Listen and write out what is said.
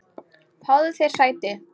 Fáðu þér sæti.